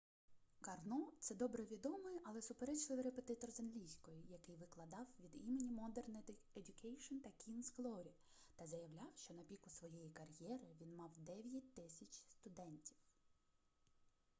карно це добре відомий але суперечливий репетитор з англійської який викладав від імені модер едьюкейшн та кінгз глорі та заявляв що на піку своєї кар'єри він мав 9000 студентів